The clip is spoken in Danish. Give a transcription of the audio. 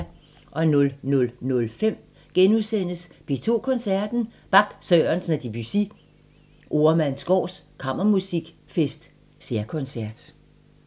00:05: P2 Koncerten – Bach, Sørensen og Debussy – Oremandsgaard Kammermusikfest særkoncert *